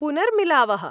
पुनर्मिलावः।